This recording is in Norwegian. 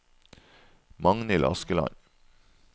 Magnhild Askeland